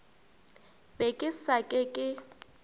be ke sa ke ke